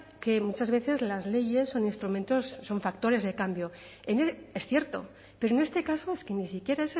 que muchas veces las leyes son instrumentos son factores de cambio es cierto pero en este caso es que ni siquiera